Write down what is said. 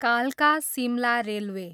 कालका, सिमला रेलवे